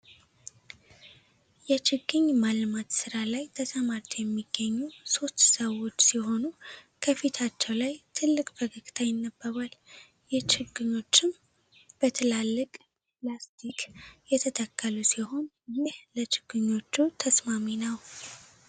የችግኝ ማልማት ስራ ላይ ተሰማርተው የሚገኙ ሶስት ሰዎች ሲሆኑ ከፊታቸው ላይ ትልቅ ፈገግታ ይነበባል ። የችግሮችም በትላልቅ ላስቲክ የተተከሉ ሲሆን ይህ ለችግኞቹ ተስማሚ ነው ።